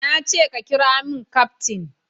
Na ce ka kiramin kaftin